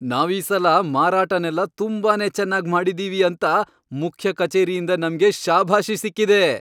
ನಾವೀಸಲ ಮಾರಾಟನೆಲ್ಲ ತುಂಬಾನೇ ಚೆನ್ನಾಗ್ ಮಾಡಿದೀವಿ ಅಂತ ಮುಖ್ಯ ಕಚೇರಿಯಿಂದ ನಮ್ಗೆ ಶಭಾಷಿ ಸಿಕ್ಕಿದೆ.